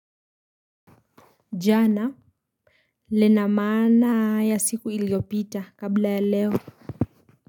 Jana, lina maana ya siku iliopita kabla ya leo.